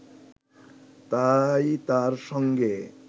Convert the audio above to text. তাই তার সঙ্গে